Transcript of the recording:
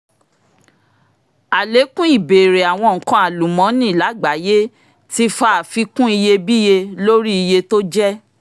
àlékún ìbéèrè àwọn nǹkan alúmọnì lágbàáyé ti fa àfikún iye-bíyé lórí iye tó jẹ́